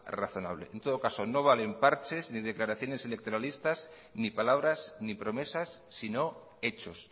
razonable en todo caso no valen parches ni declaraciones electoralistas ni palabras ni promesas sino hechos